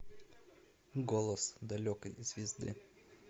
голос далекой звезды